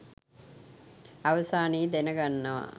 අවසානයේ දැනගන්නවා